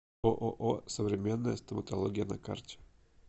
ооо современная стоматология на карте